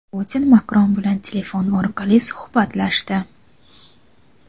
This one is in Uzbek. Putin Makron bilan telefon orqali suhbatlashdi.